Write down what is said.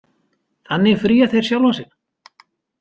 Þannig fría þeir sjálfa sig.